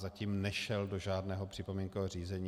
Zatím nešel do žádného připomínkového řízení.